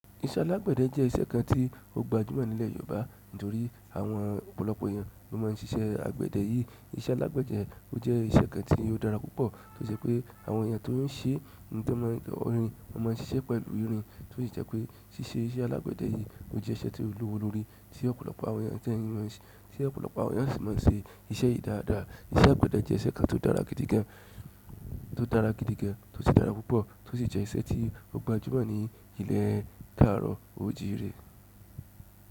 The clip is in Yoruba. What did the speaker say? Iṣẹ́ alágbẹ̀dẹ jẹ́ iṣẹ́ kan tí ó gbajúmọ̀ nílẹ̀ Yorùbá nítorí àwọn ọ̀pọ̀lọpọ̀ èèyàn ló máa ń ṣiṣẹ́ agbẹ̀dẹ yìí. Iṣẹ́ alágbẹ̀dẹ o jẹ́ iṣẹ́ kan tí ó dára púpọ̀, tó ṣe pé àwọn èèyàn tó n ṣe, tó máa rìn, wọ́n má ń ṣiṣẹ́ pẹ̀lú irin, tí ó sì jẹ́ pé ṣíṣe iṣẹ́ alágbẹ̀dẹ yìí o jẹ́ iṣẹ́ tí ó lówó lórí, tí ọ̀pọ̀lọpọ̀ àwọn èèyàn kò ní máa n ṣe, tí ọ̀pọ̀lọpọ̀ àwọn èèyàn sì máa n ṣe iṣẹ́ yìí dáadáa. Iṣẹ́ àgbẹ̀dẹ jẹ́ iṣẹ́ kan tó dára gidi gan, tó dára gidi gan, tó sì dára púpọ̀, tó sì jẹ́ iṣẹ́ tí ó gbajúmọ̀ ní ilẹ̀ káàro ojíire.